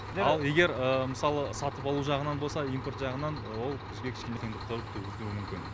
ал егер мысалы сатып алу жағынан болса импорт жағынан ол бізге кішкене қиындықтар туғызуы мүмкін